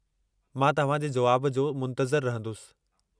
मां तव्हांजे जुवाब जो मुंतज़िरु रहंदुसि।